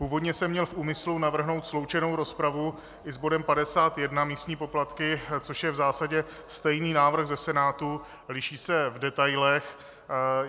Původně jsem měl v úmyslu navrhnout sloučenou rozpravu i s bodem 51, místní poplatky, což je v zásadě stejný návrh ze Senátu, liší se v detailech.